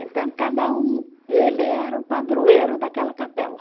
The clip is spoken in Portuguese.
Então, cada um, ele era o padroeiro daquela capela.